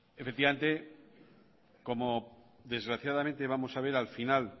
efectivamente como desgraciadamente vamos a ver al final